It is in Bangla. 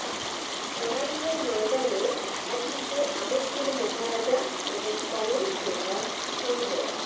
লড়াইয়ের ময়দানে একদিকে আমেঠির মহারাজা এবং কংগ্রেস নেতা সঞ্জয়